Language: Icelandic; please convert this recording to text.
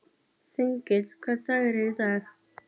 Þengill, hvaða dagur er í dag?